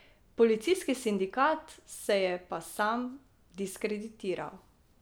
Policijski sindikat se je pa sam diskreditiral.